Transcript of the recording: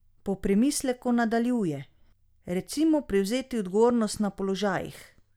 Po premisleku nadaljuje: "Recimo prevzeti odgovornost na položajih.